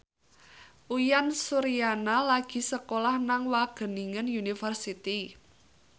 Uyan Suryana lagi sekolah nang Wageningen University